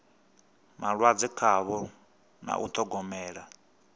malwadze khavho na u ṱhogomela